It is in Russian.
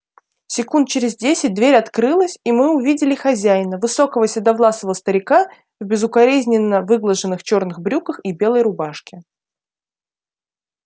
секунд через десять дверь открылась и мы увидели хозяина высокого седовласого старика в безукоризненно выглаженных черных брюках и белой рубашке